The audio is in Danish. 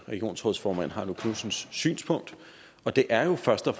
regionsrådsformand heino knudsens synspunkt og det er jo først og